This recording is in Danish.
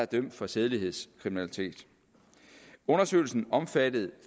dømt for sædelighedskriminalitet undersøgelsen omfattede